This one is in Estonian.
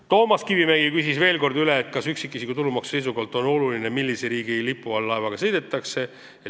Toomas Kivimägi küsis veel kord üle, kas üksikisiku tulumaksu seisukohalt on oluline, millise riigi lipu all laevaga sõidetakse.